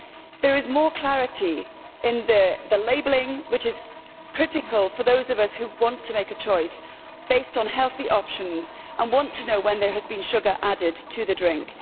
There is more clarity in the labelling, which is critical for those of us who want to make a choice based on healthy options and want to know when there has been sugar added to the drink.